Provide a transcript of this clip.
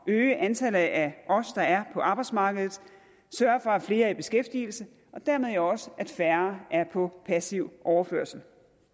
at øge antallet af os der er på arbejdsmarkedet sørge for at flere er i beskæftigelse og dermed jo også at færre er på passiv overførsel